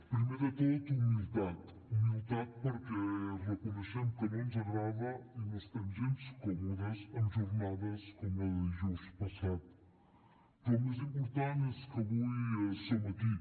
primer de tot humilitat humilitat perquè reconeixem que no ens agrada i no estem gens còmodes amb jornades com la de dijous passat però el més important és que avui som aquí